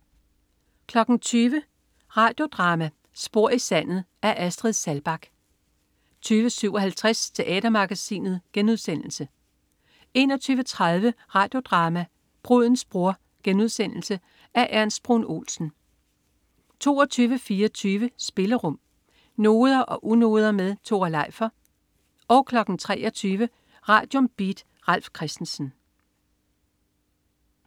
20.00 Radio Drama: Spor i sandet. Af Astrid Saalbach 20.57 Teatermagasinet* 21.30 Radio Drama: Brudens bror*. Af Ernst Bruun Olsen 22.24 Spillerum. Noder og unoder med Tore Leifer 23.00 Radium. Beat. Ralf Christensen